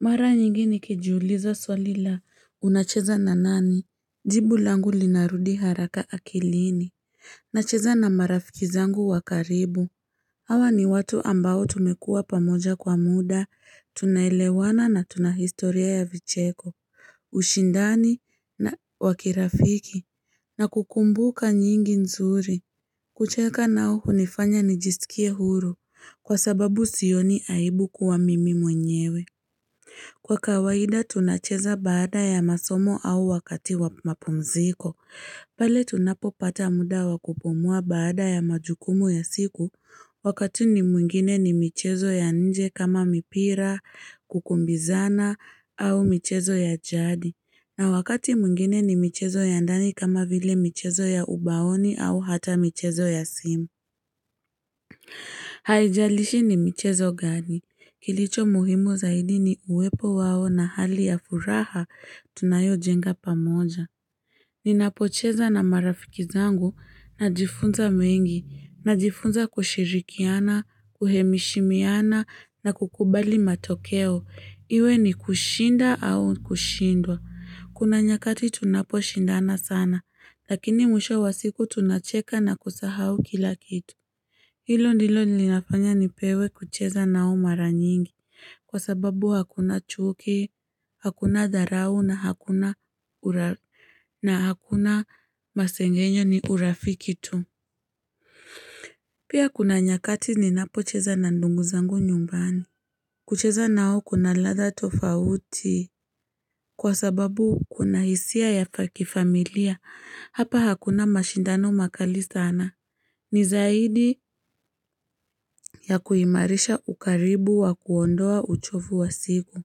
Mara nyingi nikijiuliza swali la unacheza na nani jibu langu linarudi haraka akilini nacheza na marafiki zangu wa karibu Hawa ni watu ambao tumekuwa pamoja kwa muda tunaelewana na tuna historia ya vicheko ushindani wa kirafiki na kukumbuka nyingi nzuri kucheka nao hunifanya nijisikie huru kwa sababu sioni aibu kuwa mimi mwenyewe Kwa kawaida tunacheza baada ya masomo au wakati wa mapumziko, pale tunapopata muda wa kupumua baada ya majukumu ya siku, wakati mwingine ni michezo ya nje kama mipira, kukimbizana au michezo ya jadi, na wakati mwingine ni michezo ya ndani kama vile michezo ya ubaoni au hata michezo ya simu. Haijalishi ni michezo gani, kilicho muhimu zaidi ni uwepo wao na hali ya furaha tunayojenga pamoja. Ninapocheza na marafiki zangu, najifunza mengi, najifunza kushirikiana, kuheshimiana, na kukubali matokeo, iwe ni kushinda au kushindwa. Kuna nyakati tunaposhindana sana, lakini mwisho wa siku tunacheka na kusahau kila kitu. Hilo ndilo linafanya nipewe kucheza nao mara nyingi kwa sababu hakuna chuki, hakuna dharau na hakuna masengenyo ni urafiki tu. Pia kuna nyakati ninapocheza na ndugu zangu nyumbani. Kucheza nao kuna ladha tofauti kwa sababu kuna hisia ya kifamilia. Hapa hakuna mashindano makali sana. Ni zaidi ya kuimarisha ukaribu wa kuondoa uchovu wa siku.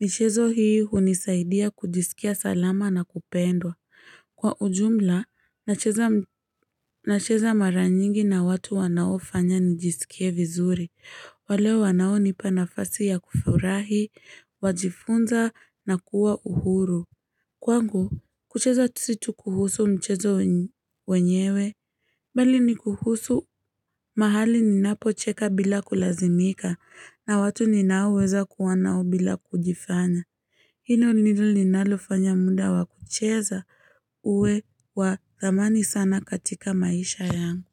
Michezo hii hunisaidia kujisikia salama na kupendwa. Kwa ujumla, nacheza mara nyingi na watu wanaofanya nijisikie vizuri. Wale wanaonipa nafasi ya kufurahi, wajifunza na kuwa uhuru. Kwangu, kucheza si tu kuhusu mchezo wenyewe, bali ni kuhusu mahali ninapocheka bila kulazimika, na watu ninaoweza kuwa nao bila kujifanya. Hilo ndilo linalofanya muda wa kucheza uwe wa thamani sana katika maisha yangu.